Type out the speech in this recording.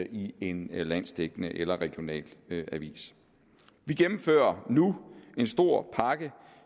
i en landsdækkende eller regional avis vi gennemfører nu en stor pakke